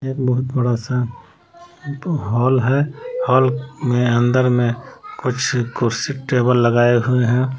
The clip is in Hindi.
एक बहुत बड़ा सा हॉल है हॉल में अंदर में कुछ कुर्सी टेबल लगाए हुए हैं।